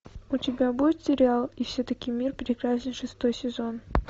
у тебя будет сериал и все таки мир прекрасен шестой сезон